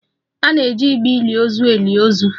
A na-eji igbe ili ozu eli ozu